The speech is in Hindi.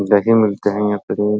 दही मिलते है यहाँ पर --